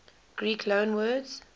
greek loanwords